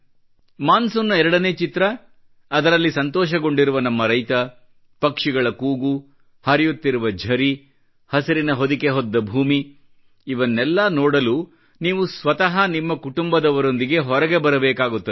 monsoon ನ ಎರಡನೇ ಚಿತ್ರ ಅದರಲ್ಲಿ ಸಂತೋಷಗೊಂಡಿರುವ ನಮ್ಮ ರೈತ ಪಕ್ಷಿಗಳ ಕೂಗು ಹರಿಯುತ್ತಿರುವ ಝರಿ ಹಸಿರಿನ ಹೊದಿಕೆ ಹೊದ್ದ ಭೂಮಿ ಇವನ್ನೆಲ್ಲ ನೋಡಲು ನೀವು ಸ್ವತಃ ನಿಮ್ಮ ಕುಟುಂಬದವರೊಂದಿಗೆ ಹೊರಗೆ ಬರಬೇಕಾಗುತ್ತದೆ